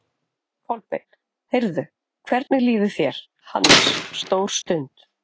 Kolbeinn: Heyrðu, hvernig líður þér, Hannes, stór stund?